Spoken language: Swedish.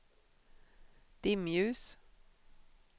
dimljus